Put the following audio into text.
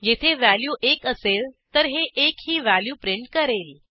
येथे व्हॅल्यू एक असेल तर हे एक ही व्हॅल्यू प्रिंट करेल